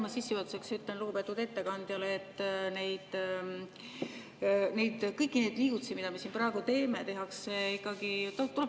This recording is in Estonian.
Ma sissejuhatuseks ütlen lugupeetud ettekandjale, et kõiki neid liigutusi, mida me siin praegu teeme, tehakse ikkagi …